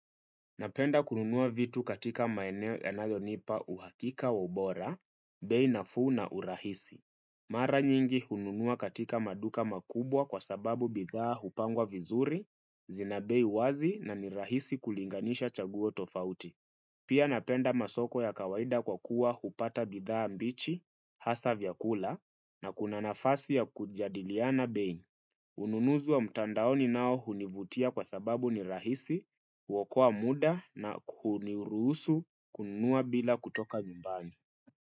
Napenda kununua vitu katika maeneo ya nayonipa uhakika wabora, beinafu na urahisi. Mara nyingi hununua katika maduka makubwa kwa sababu bidhaa hupangwa vizuri, zina bei wazi na nirahisi kulinganisha chaguotofauti. Pia napenda masoko ya kawaida kwa kuwa hupata bidhaa mbichi, hasa vyakula, na kuna nafasi ya kujadiliana bei. Ununuzi wa mtandaoni nao hunivutia kwa sababu ni rahisi, wakoa muda na kunirusu kunua bila kutoka nyumbani.